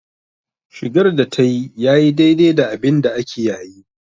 Shigar da tayi yayi daidai da abinda ake yayi.